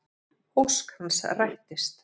Ósk hans rættist.